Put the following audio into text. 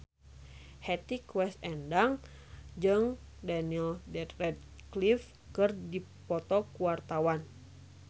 Hetty Koes Endang jeung Daniel Radcliffe keur dipoto ku wartawan